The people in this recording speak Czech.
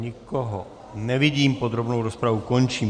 Nikoho nevidím, podrobnou rozpravu končím.